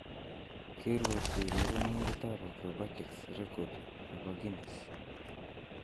Keruotyi urerenindetab Acrobatics record nebo Guinness